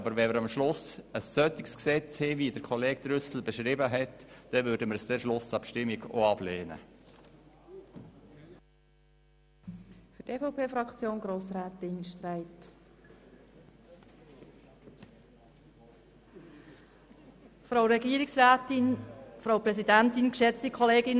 Aber wenn wir am Schluss ein Gesetz haben, wie es Grossrat Trüssel beschrieben hat, dann werden wir es in der Schlussabstimmung auch ablehnen.